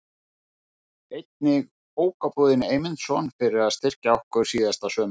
Einnig Bókabúðinni Eymundsson fyrir að styrkja okkur síðasta sumar.